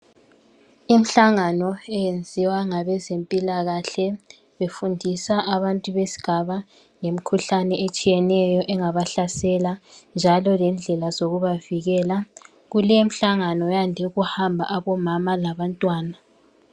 Imihlangano eyenziwa ngabezempilakahle befundisa abantu besigaba ngemikhuhlane etshiyeneyo engabahlasela njalo lendlela zokubavikela, kulemihlangano kuyande ukuhamba obomama labantwana.